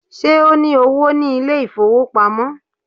Ṣé o ní owó ní ilé ìfowópamọ́?